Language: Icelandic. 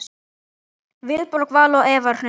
Vilborg Vala og Eva Hrund.